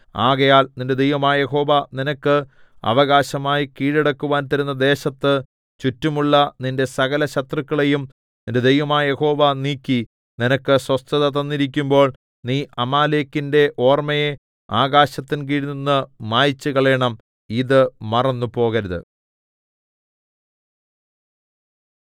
ആകയാൽ നിന്റെ ദൈവമായ യഹോവ നിനക്ക് അവകാശമായി കീഴടക്കുവാൻ തരുന്ന ദേശത്ത് ചുറ്റുമുള്ള നിന്റെ സകലശത്രുക്കളെയും നിന്റെ ദൈവമായ യഹോവ നീക്കി നിനക്ക് സ്വസ്ഥത തന്നിരിക്കുമ്പോൾ നീ അമാലേക്കിന്റെ ഓർമ്മയെ ആകാശത്തിൻ കീഴിൽനിന്ന് മായിച്ചുകളയണം ഇത് മറന്നുപോകരുത്